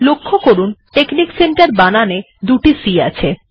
লক্ষ্য করুন টেক্সনিকসেন্টের বানানে দুটি c আছে